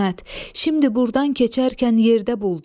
İsmət, şimdi burdan keçərkən yerdə buldum.